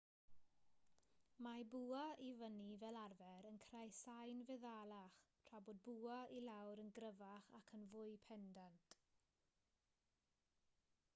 mae bwa i fyny fel arfer yn creu sain feddalach tra bod bwa i lawr yn gryfach ac yn fwy pendant